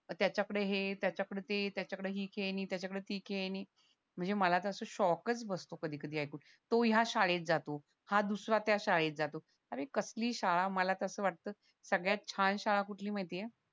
त्याच्याकडे हे त्याच्याकडे ते त्याच्याकडे ही खेळणी त्याच्याकडे ती खेळणी म्हणजे मला तर असं शॉकच बसतो कधी कधी ऐकून तो या शाळेत जातो हा दुसरा त्या शाळेत जातो अरे कसली शाळा मला तर असं वाटतं सगळ्यात छान शाळा कुठली माहिती ये